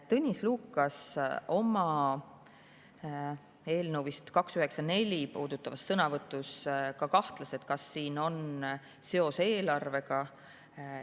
Tõnis Lukas kahtles oma sõnavõtus, mis puudutas eelnõu 294, kas sellel on seos eelarvega.